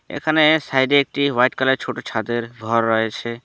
এখানে সাইড -এ একটি হোয়াইট কালার ছোট ছাদের ঘর রয়েছে।